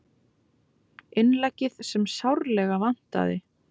Innleggið sem sárlega vantaði